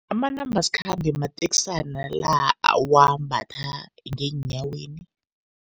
Amanambasikhambe mateksana la owambatha ngeenyaweni.